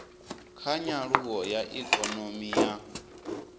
kha nyaluwo ya ikonomi ya